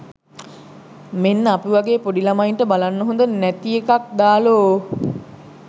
මෙන්න අපි වගේ පොඩි ලමයින්ට බලන්න හොද නැති එකක් දාලෝ.